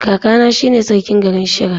Kakana shine sarkin garin Shira.